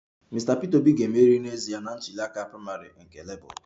Mr Peter Obi ga-emeri n'ezie na ntuli aka praịmarị nke labour